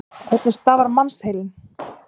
Hvernig starfar mannsheilinn?